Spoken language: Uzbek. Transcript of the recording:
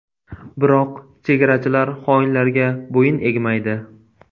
Biroq chegarachilar xoinlarga bo‘yin egmaydi.